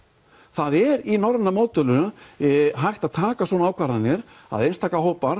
það er í norræna módelinu hægt að taka svona ákvarðanir að einstaka hópar